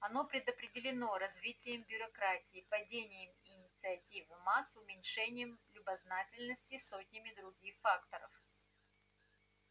оно предопределено развитием бюрократии падением инициативы масс уменьшением любознательности сотнями других факторов